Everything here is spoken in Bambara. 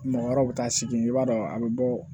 Mɔgɔ wɛrɛw bɛ taa sigi i b'a dɔn a bɛ bɔ